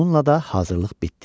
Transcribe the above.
Bununla da hazırlıq bitdi.